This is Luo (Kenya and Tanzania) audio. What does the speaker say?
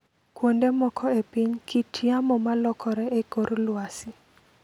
Kuonde moko e piny, kit yamo ma lokore e kor lwasi .